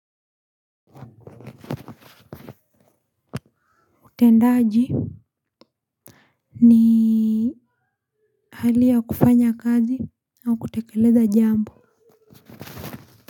Utendaji ni hali ya kufanya kazi au kutekeleza jambo.